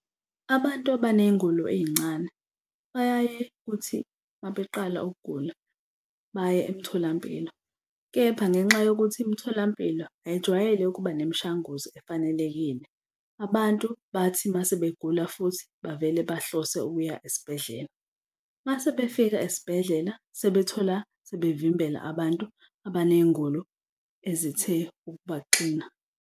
Abantu abaney'ngulo ey'ncane bayaye kuthi uma beqala ukugula, baye emtholampilo kepha ngenxa yokuthi imitholampilo ayijwayele ukuba nemishanguzo efanelekile, abantu bathi uma sebegula futhi bavele bahlose ukuya esibhedlela uma sebefika esibhedlela sebethola sebevimbela abantu abaney'ngula ezithe ukubaxina.